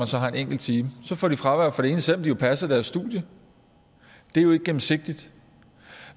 så har en enkelt time og så får de fravær for det ene selv om de jo passer deres studier det er jo ikke gennemsigtigt